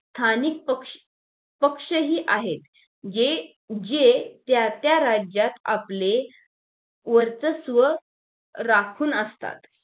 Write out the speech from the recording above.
स्थानिक पक्ष पक्षही आहेत जे जे त्या त्या राज्यात आपले वर्चस्व राखून असतात